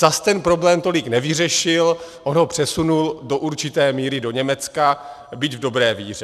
Zas ten problém tolik nevyřešil, on ho přesunul do určité míry do Německa, byť v dobré víře.